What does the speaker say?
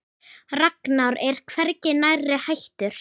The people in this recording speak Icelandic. Ragnar er hvergi nærri hættur.